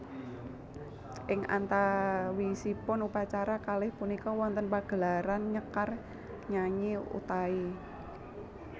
Ing antawisipun upacara kalih punika wonten pagelaran nyekar nyanyi Utai